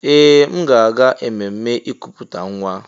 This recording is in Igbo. Ee! M ga-aga ememme ikuputa nwa.